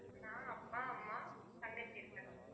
நான், அப்பா, அம்மா, தங்கச்சி இருக்காங்க sir